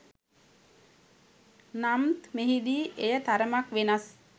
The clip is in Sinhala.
නම්ත් මෙහෙදී එය තරමක් වෙනස්